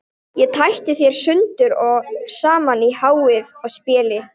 Ég tæti þær sundur og saman í háði og spéi.